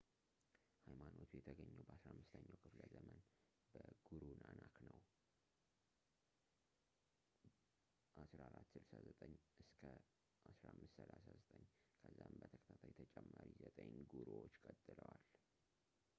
ኃይማኖቱ የተገኘው በ15ኛው ክፍለዘመን በጉሩ ናናክ ነው 1469–1539። ከዛም በተከታታይ ተጨማሪ ዘጠኝ ጉሩዎች ቀጥለዋል